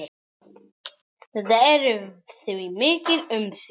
Þetta eru því mikil umsvif.